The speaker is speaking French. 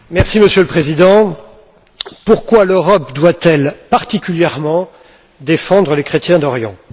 Monsieur le Président, pourquoi l'Europe doit elle particulièrement défendre les chrétiens d'Orient?